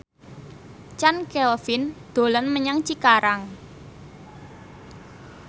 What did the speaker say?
Chand Kelvin dolan menyang Cikarang